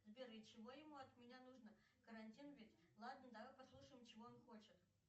сбер и чего ему от меня нужно карантин ведь ладно давай послушаем чего он хочет